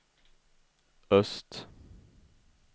öst